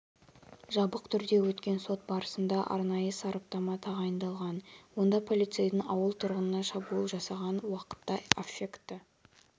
жабық түрде өткен сот барысында арнайы сараптама тағайындалған онда полицейдің ауыл тұрғынына шабуыл жасаған уақытта аффекті